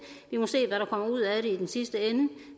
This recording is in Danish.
vi må se hvad der kommer ud af det i den sidste ende